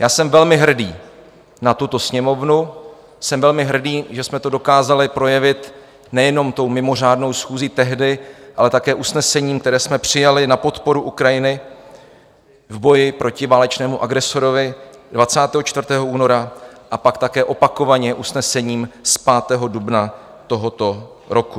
Já jsem velmi hrdý na tuto Sněmovnu, jsem velmi hrdý, že jsme to dokázali projevit nejenom tou mimořádnou schůzí tehdy, ale také usnesením, které jsme přijali na podporu Ukrajiny v boji proti válečnému agresorovi 24. února a pak také opakovaně usnesením z 5. dubna tohoto roku.